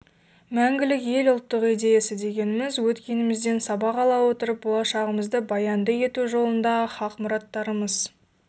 мәңгілік ел ұлттық идеясы дегеніміз өткенімізден сабақ ала отырып болашағымызды баянды ету жолындағы хақ мұраттарымыз